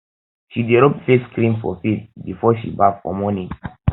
she dey rob face cream for face before she baff for morning